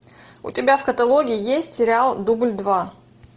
у тебя в каталоге есть сериал дубль два